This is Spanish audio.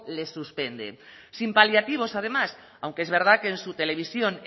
le suspenden sin paliativos además aunque es verdad que su televisión